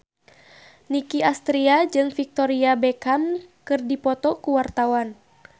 Nicky Astria jeung Victoria Beckham keur dipoto ku wartawan